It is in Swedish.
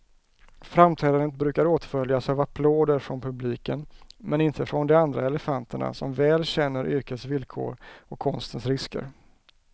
Framträdandet brukar åtföljas av applåder från publiken, men inte från de andra elefanterna, som väl känner yrkets villkor och konstens risker.